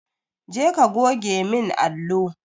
Je ka goge min allo!